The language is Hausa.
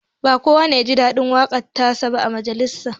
Ba kowa ne ya ji daɗin waƙar ta sa ba a majalisin